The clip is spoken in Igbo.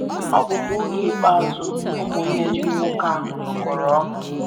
Ọ bụkwa oge ikpeazụ ụmụnne ndị nwoke ahụ nọkọrọ ọnụ.